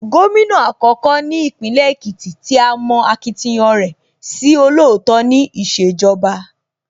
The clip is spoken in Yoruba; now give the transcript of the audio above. Gómìnà àkọ́kọ́ ní Ìpínlẹ̀ Èkìtì tí a mọ akitiyan rẹ̀ sí olóòótọ́ ní ìṣèjọba